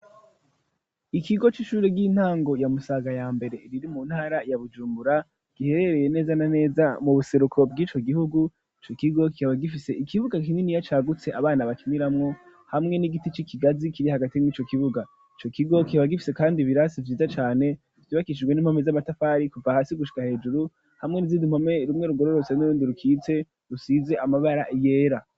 Ikigo c'ishure ry'intango yamusaga ya mbere riri mu ntara ya bujumbura giherereye neza na neza mu buseruko bw'ico gihugu co kigo kihabagifise ikibuga kinini ya cagutse abana bakimiramwo hamwe n'igiti c'ikigazi kiri hagati mwo'ico kibuga ico kigo kihabagifise, kandi birasi vyiza cane vyubakishijwe n'impomi z'amatafari ku pahasio gushika hejuru hamwe rizidiinkome rumwe ruwororose n'urundi rukitse rusize amabara yera.